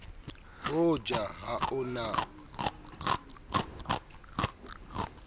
ho ja ha o na